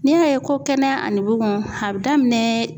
N'i y'a ye ko kɛnɛya ani bugun a bɛ daminɛ